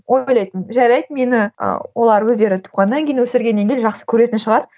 ойлайтынмын жарайды мені ы олар өздері туғаннан кейін өсіргеннен кейін жақсы көретін шығар